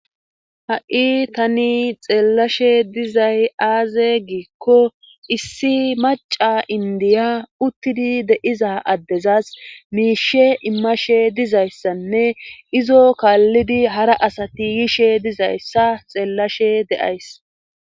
Ha'i tani xeellashe dizay aaze giikko issi maca indiya uttidi deiza addezas miishe immashe dizayssanne izo kaallidi hara asati yishe dizayssa xeellashe deays